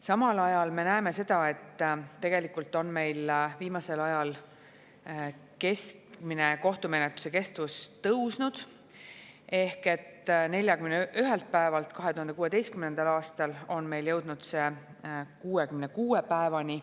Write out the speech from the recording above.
Samal ajal me näeme seda, et tegelikult on meil viimasel ajal keskmine kohtumenetluse kestus tõusnud: 41 päevalt 2016. aastal on see pikenenud 66 päevani.